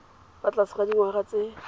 fa tlase ga dingwaga tse